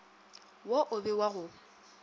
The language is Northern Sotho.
wo o be wa go